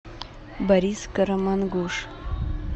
борис карамангуш